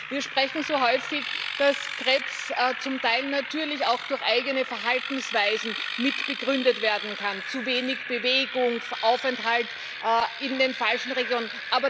Wir sprechen so häufig darüber, dass Krebs zum Teil natürlich auch durch eigene Verhaltensweisen mitbegründet werden kann zu wenig Bewegung, Aufenthalt in den falschen Regionen.